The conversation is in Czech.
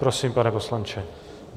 Prosím, pane poslanče.